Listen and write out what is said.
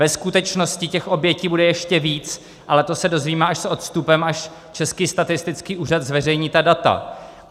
Ve skutečnosti těch obětí bude ještě víc, ale to se dozvíme až s odstupem, až Český statistický úřad zveřejní ta data.